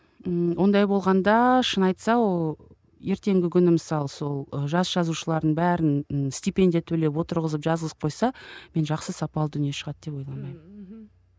ммм ондай болғанда шын айтса ол ертеңгі күні мысалы сол жас жазушылардың бәрін степендия төлеп отырғызып жазғызып қойса мен жақсы сапалы дүние шығады деп ойламаймын ммм мхм